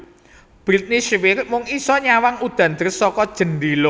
Britney Spears mung iso nyawang udan deres saka jendela